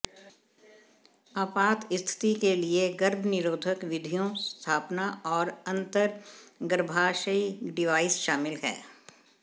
आपात स्थिति के लिए गर्भनिरोधक विधियों स्थापना और अंतर्गर्भाशयी डिवाइस शामिल हैं